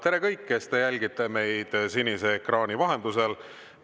Tere, kõik, kes te jälgite meid sinise ekraani vahendusel!